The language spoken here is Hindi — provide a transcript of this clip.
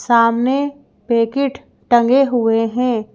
सामने पैकेट टंगे हुए हैं।